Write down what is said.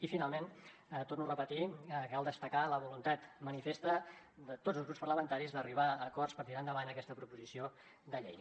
i finalment ho torno a repetir cal destacar la voluntat manifesta de tots els grups parlamentaris d’arribar a acords per tirar endavant aquesta proposició de llei